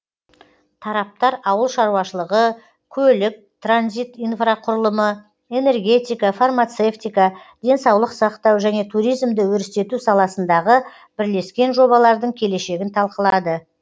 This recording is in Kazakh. тараптар ауыл шаруашылығы көлік транзит инфрақұрылымы энергетика фармацевтика денсаулық сақтау және туризмді өрістету саласындағы бірлескен жобалардың келешегін талқылады